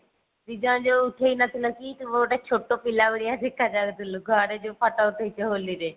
ଦି ଜଣ ଯଉ ଉଠେଇନଥିଲ କି ତୁ ଗୋଟେ ଛୋଟ ପିଲା ଭଳିଆ ଦେଖା ଯାଉଥିଲୁ ଘରେ ଯଉ ଫୋଟୋ ଉଠେଇଛ ହୋଲି ରେ।